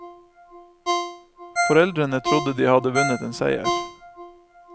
Foreldrene trodde de hadde vunnet en seier.